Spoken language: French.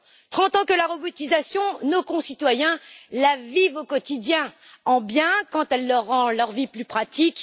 Trente ans que la robotisation, nos concitoyens la vivent au quotidien en bien, quand elle rend leur vie plus pratique